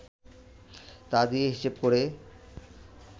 তা দিয়ে হিসেব করে